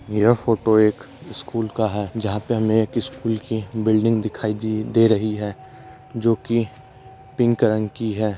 यह फोटो एक स्कूल का है जहा पे हमे एक स्कूल की बिल्डिंग दिखाई दे देरही है जोकि पिंक रंग की है।